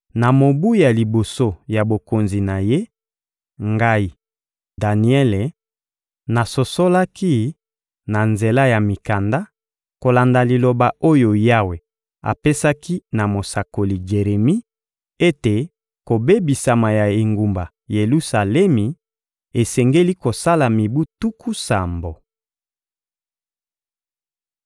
na mobu ya liboso ya bokonzi na ye, ngai, Daniele, nasosolaki, na nzela ya mikanda, kolanda liloba oyo Yawe apesaki na mosakoli Jeremi, ete kobebisama ya engumba Yelusalemi esengeli kosala mibu tuku sambo.